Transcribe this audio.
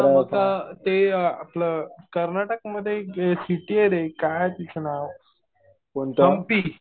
हा मग ते आपलं कर्नाटक मध्ये सिटी आहे रे . काय तिचं नाव, हंपी